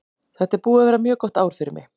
Þetta er búið að vera mjög gott ár fyrir mig.